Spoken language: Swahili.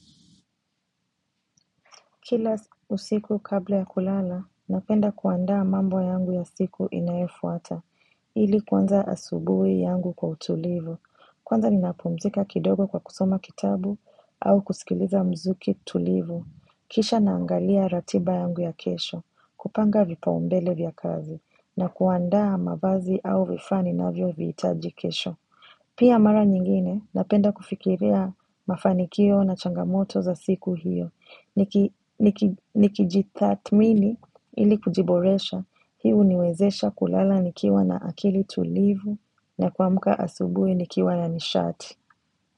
Kila usiku kabla ya kulala, napenda kuandaa mambo yangu ya siku inayofuata, ili kuanza asubuhi yangu kwa utulivu. Kwanza ninapumzika kidogo kwa kusoma kitabu au kusikiliza mziki tulivu. Kisha naangalia ratiba yangu ya kesho, kupanga vipaombele vya kazi, na kuandaa mavazi au vifaa ninavyoviitaji kesho. Pia mara nyingine, napenda kufikiria mafanikio na changamoto za siku hiyo. Nikijitathmini ili kujiboresha hii huniwezesha kulala nikiwa na akili tulivu na kuamka asubuhi nikiwa na nishati.